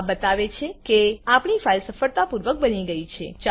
આ બતાવે છે કે આપણી ફાઈલ સફળતાપૂર્વક બની ગયી છે